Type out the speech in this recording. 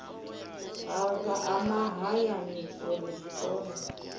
ha mahayani uri zwi kone